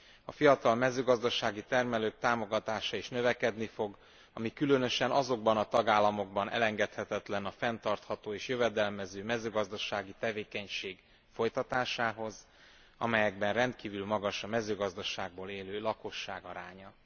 A fiatal mezőgazdasági termelők támogatása is növekedni fog, ami különösen azokban a tagállamokban elengedhetetlen a fenntartható és jövedelmező mezőgazdasági tevékenység folytatásához, amelyekben rendkívül magas a mezőgazdaságból élő lakosság aránya.